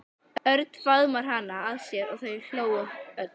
Örn faðmaði hana að sér og þau hlógu öll.